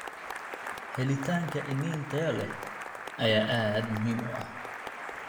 Helitaanka iniin tayo leh ayaa aad muhiim u ah.